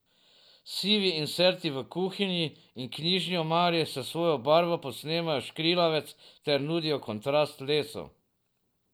Sivi inserti v kuhinji in knjižni omari s svojo barvo posnemajo škrilavec ter nudijo kontrast lesu.